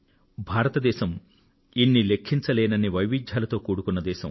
భారతదేశం ఇన్ని లెక్కపెట్టలేనన్ని వైవిధ్యాలతో కూడుకున్న దేశం